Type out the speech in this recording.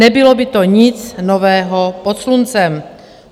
Nebylo by to nic nového pod sluncem.